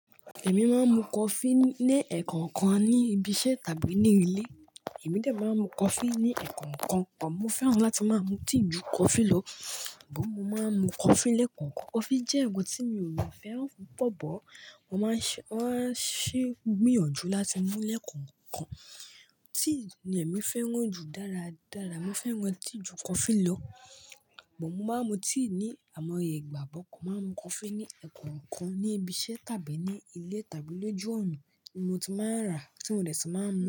Èmi máa ń mu coffee ní ẹẹkan kan ní ibi iṣẹ́ tàbí ní ilé. Èmi ò dè máa ń mu coffee ní ẹẹkan kan bọ̀. Mo fẹ́ràn láti máa ń mu tea ju coffee lọ, bọ̀ mo máa ń mu coffee lẹ́ẹ̀kan kan. Coffee jẹ́ ǹkan tí mi ò mọ fẹ́ràn púpọ̀ bọ̀. Wọ́n máa ń ṣe, wọ́n á ṣe gbìyànjú láti mu lẹ́ẹ̀kan kan. Tea ni èmi fẹ́ràn jù dára dára. Mo fẹ́ràn tea ju coffee lọ, bọ̀ mo máa ń mu tea ní àìmọye ìgbà bọ̀ Mo máa ń mu coffee ní ẹ̀ẹ́kan kan ní ibi iṣẹ́ tàbí ní ilé tàbí lójú ọ̀nà. Mo tún máa ń rà tí mo dẹ̀ tú máa ń mu.